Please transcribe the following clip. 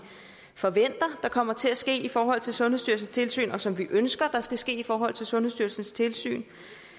forventer kommer til at ske i forhold til sundhedsstyrelsens tilsyn og som vi ønsker skal ske i forhold til sundhedsstyrelsens tilsyn